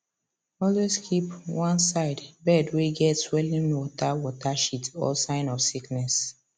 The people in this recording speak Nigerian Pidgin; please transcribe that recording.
always keep one side bird way get swelling water water shit or sign of sickness